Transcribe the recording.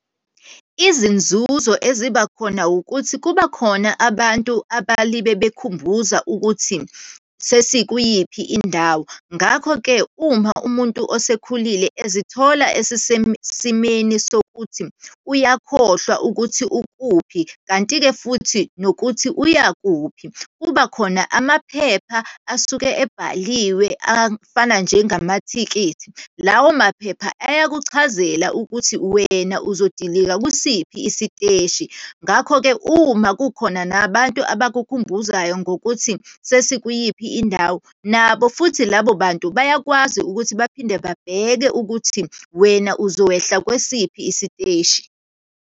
Izinzuzo eziba khona ukuthi, kuba khona abantu abalibe bekhumbuza ukuthi sesikwiyiphi indawo. Ngakho-ke, uma umuntu osekhulile ezithola esesesimeni sokuthi uyakhohlwa ukuthi ukuphi, kanti-ke futhi nokuthi uyakuphi. Kubakhona amaphepha asuke ebhaliwe afana njengamathikithi, lawo maphepha ayakuchazela ukuthi wena uzodilika kusiphi isiteshi. Ngakho-ke uma kukhona nabantu abakukhumbuzayo ngokuthi sesikwiyiphi indawo, nabo futhi labo bantu bayakwazi ukuthi baphinde babheke ukuthi wena uzowehla kwesiphi isiteshi.